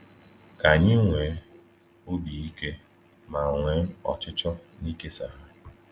Ka anyị nwee obi ike ma nwee ọchịchọ n’ịkesa ha.